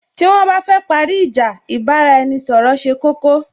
Tí wón bá fẹ́ parí ìjà, ì bá ra-ẹni ṣọ̀rọ̀ ṣe koko